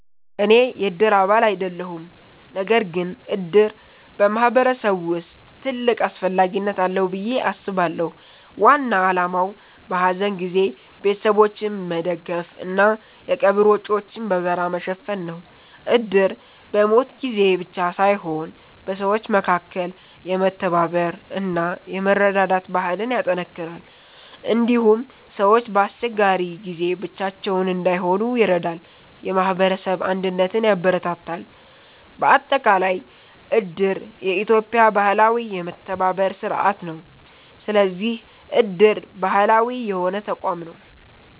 እኔ የእድር አባል አይደለሁም። ነገር ግን እድር በማህበረሰብ ውስጥ ትልቅ አስፈላጊነት አለው ብዬ አስባለሁ። ዋና ዓላማው በሐዘን ጊዜ ቤተሰቦችን መደገፍ እና የቀብር ወጪዎችን በጋራ መሸፈን ነው። እድር በሞት ጊዜ ብቻ ሳይሆን በሰዎች መካከል የመተባበር እና የመረዳዳት ባህልን ያጠናክራል። እንዲሁም ሰዎች በአስቸጋሪ ጊዜ ብቻቸውን እንዳይሆኑ ይረዳል፣ የማህበረሰብ አንድነትን ያበረታታል። በአጠቃላይ እድር የኢትዮጵያ ባህላዊ የመተባበር ስርዓት ነው። ስለዚህ እድር ባህላዊ የሆነ ተቋም ነው።